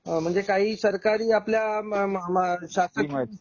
हा म्हणजे काही सरकारी आपल्या शासन